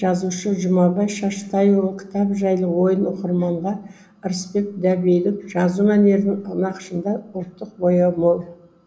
жазушы жұмабай шаштайұлы кітап жайлы ойын оқырманға ырысбек дәбейдің жазу мәнерінің нақышында ұлттық бояу мол